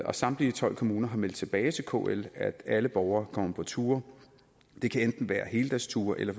og samtlige tolv kommuner har meldt tilbage til kl at alle borgere kommer på ture det kan enten være heldagsture eller